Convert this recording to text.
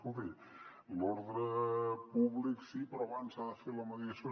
escolti l’ordre públic sí però abans s’ha de fer la mediació